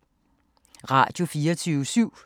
Radio24syv